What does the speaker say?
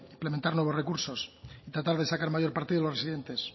implementar nuevos recursos y tratar de sacar mayor partido de los residentes